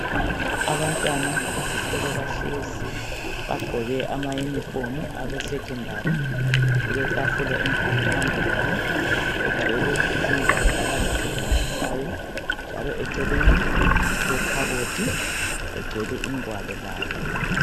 Abantwana besikolo bahlezi bagqoke amayunifomu awe secondary kuletafula enkulu phambi kwabo egcwele izingwalo abazisebenzisayo njalo eceleni kulekhabothi egcwele igwalo layo.